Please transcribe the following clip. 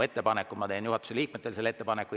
Ma teen juhatuse liikmetele selle ettepaneku.